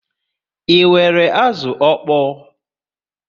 Ị nwèrè azụ ọkpọ?